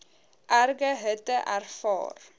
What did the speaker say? erge hitte ervaar